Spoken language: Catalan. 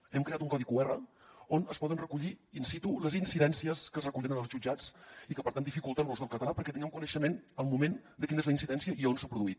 hem creat un codi qr on es poden recollir in situ les incidències que es recullen en els jutjats i que per tant dificulten l’ús del català perquè tinguem coneixement al moment de quina és la incidència i on s’ha produït